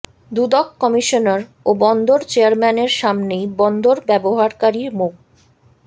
দুদক commissioner ও বন্দর চেয়ারম্যানের সামনেই বন্দর ব্যবহারকারী মো